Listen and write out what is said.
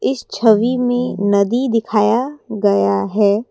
इस छवि में नदी दिखाया गया है।